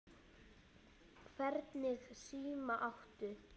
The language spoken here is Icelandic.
Hvernig síma áttu?